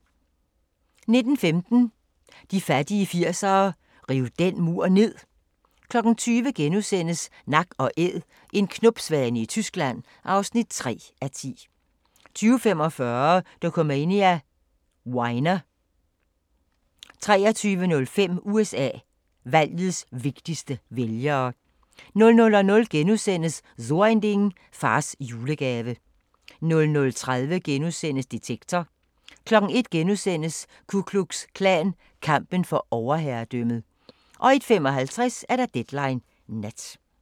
19:15: De fattige 80'ere: Riv den mur ned! 20:00: Nak & Æd – en knopsvane i Tyskland (3:10)* 20:45: Dokumania: Weiner 23:05: USA: Valgets vigtigste vælgere 00:00: So Ein Ding: Fars julegave * 00:30: Detektor * 01:00: Ku Klux Klan – kampen for overherredømmet * 01:55: Deadline Nat